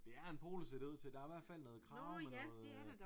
Det er en polo ser det ud til der er hvert fald noget krave med noget øh